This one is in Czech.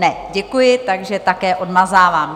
Ne, děkuji, takže také odmazávám.